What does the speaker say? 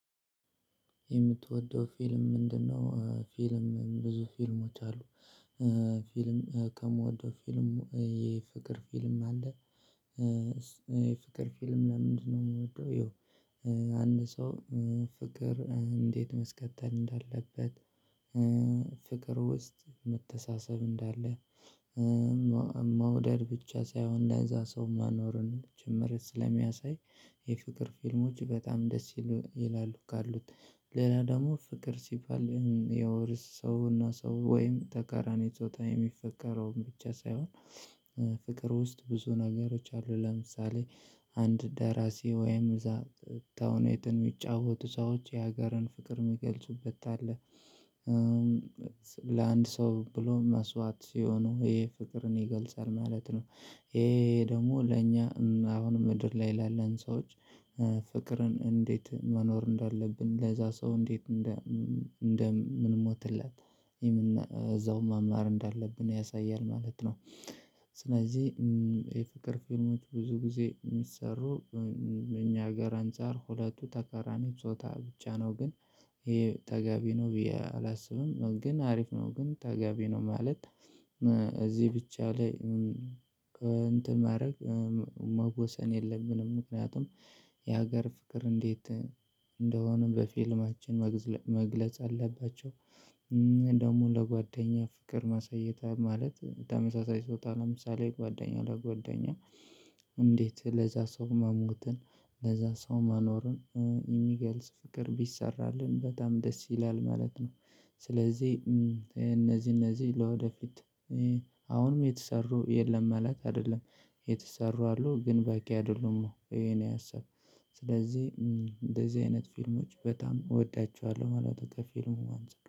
የምትወደው ፊልም ምንድነው? ፊልም ብዙ ፊልሞች አሉ። ፊልም ከምወደው ፊልም የፍቅር ፊልም አለ። የፍቅር ፊልም ለምንድነው? የምወደው ያው አንድ ሰው ፍቅር እንዴት ማስቀጠል እንዳለበት። ፍቅር ውስጥ መተሳሰብ እንዳለ። መውደድ ብቻ ሳይሆን ለዛ ሰው መኖርን ጭምር ስለሚያሳይ የፍቅር ፊልሞች በጣም ደስ ይላሉ ካሉት። ለኔ ደግሞ ፍቅር ሲባል የውርስ ሰውና ሰው ወይም ተቃራኒ ጾታ የሚፈቀረውን ብቻ ሳይሆን ፍቅር ውስጥ ብዙ ነገሮች አሉ። ለምሳሌ አንድ ደራሲ ወይም እዛ ተውኔትን የሚጫወቱ ሰዎች የሀገርን ፍቅር የሚገልጹበት አለ። ለአንድ ሰው ብሎ መስዋት ሲሆኑ ይሄ ፍቅርን ይገልጻል ማለት ነው። ይሄ ደግሞ ለእኛ አሁን ምድር ላይ ላለን ሰዎች። ፍቅርን እንዴት መኖር እንዳለብን ለዛ ሰው እንዴት እንደምንሞትለት እዛውም መማር እንዳለብን ያሳያል ማለት ነው። ስለዚህ የፍቅር ፊልሞች ብዙ ጊዜ የሚሰሩ እኛ አገር አንፃር ሁለቱ ተቃራኒ ጾታ ብቻ ነው። ግን ይሄ ተገቢ ነው ብዬ አላስብም። ግን አሪፍ ነው ግን ተገቢ ነው ማለት። እዚህ ብቻ ላይ ከእንትን ማድረግ መወሰን የለብንም። ምክንያቱም የሀገር ፍቅር እንዴት እንደሆነ በፊልማችን መግለጽ አለባቸው። ደግሞ ለጓደኛ ፍቅር ማሳየት ማለት ተመሳሳይ ጾታ ለምሳሌ ጓደኛው ለጓደኛ እንዴት ለዛ ሰው መሞትን ለዛ ሰው መኖርን የሚገልጽ ፍቅር ቢሰራልን በጣም ደስ ይላል ማለት ነው። ስለዚህ እነዚህ እነዚህ ለወደፊት አሁንም የተሰሩ የለም ማለት አይደለም የተሰሩ አሉ ግን በቂ አይደሉም። ይሄ እኔ የሀሳብ ስለዚህ እንደዚህ አይነት ፊልሞች በጣም እወዳቸዋለሁ ማለት ነው። ከፊልሙ አንፃር